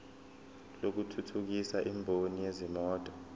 lokuthuthukisa imboni yezimoto